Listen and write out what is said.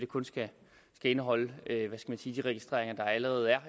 kun skal indeholde de registreringer der allerede er